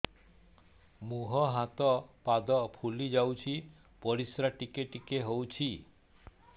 ମୁହଁ ହାତ ପାଦ ଫୁଲି ଯାଉଛି ପରିସ୍ରା ଟିକେ ଟିକେ ହଉଛି